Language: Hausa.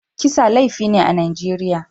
Kisa laifi ne a Najeriya.